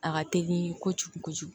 A ka teli ko kojugu kojugu